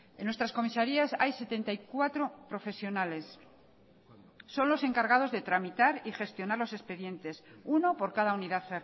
en nuestras comisarías hay setenta y cuatro profesionales son los encargados de tramitar y gestionar los expedientes uno por cada unidad